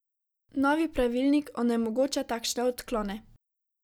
Novi pravilnik onemogoča takšne odklone.